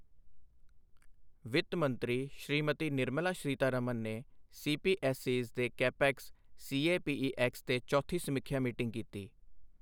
ਵਿੱਤ ਮੰਤਰੀ ਸ੍ਰੀਮਤੀ ਨਿਰਮਲਾ ਸੀਤਾਰਮਨ ਨੇ ਸੀਪੀਐਸਈਜ਼ ਦੇ ਕੈਪੇਕਸ ਸੀਏਪੀਈਐਕਸ ਤੇ ਚੌਥੀ ਸਮੀਖਿਆ ਮੀਟਿੰਗ ਕੀਤੀ।